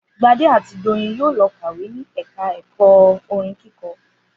Gbadé àti Doyin yóò lọ kàwé ni ẹ̀ka ẹ̀kọ́ orin kíkọ